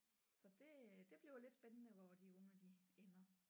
Så det øh det bliver lidt spændende hvor de unger de ender